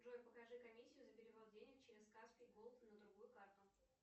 джой покажи комиссию за перевод денег через каспи голд на другую карту